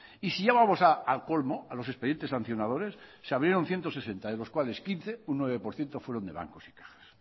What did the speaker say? y si ya vamos al colmo a los expedientes sancionadores se abrieron ciento sesenta de los cuales quince un nueve por ciento fueron de bancos y cajas